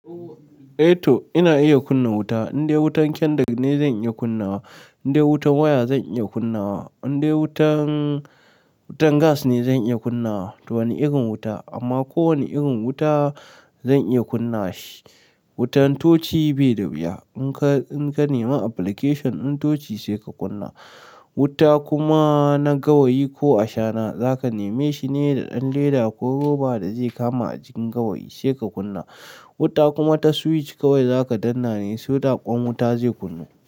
Eto ina iya kunna wuta, indai wutan kendir ne zan iya kunnawa, indai wutan waya zan iya kunnawa, indai wutan, wutan gas ne zan iya kunnawa. To wani irin wuta, amma ko wani irin wuta zan iya kunna shi. Wutan tochi bai da wuya, in ka, in ka nema application din tochi sai ka kunna. Wuta kuma na gawayi ko ashana zaka neme shi ne da ɗan leda ko roba da zai kama a jikin gawayi sai ka kunna. Wuta kuma ta switch kawai zaka danna ne so da kwan wuta zai kunnu.